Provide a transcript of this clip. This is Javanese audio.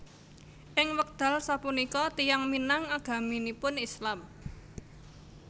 Ing wekdal sapunika tiyang Minang agaminipun Islam